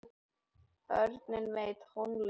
Börnin með í tónleikahaldinu